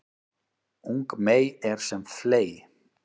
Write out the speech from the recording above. Ung mey er sem fley